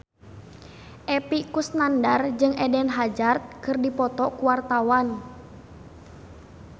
Epy Kusnandar jeung Eden Hazard keur dipoto ku wartawan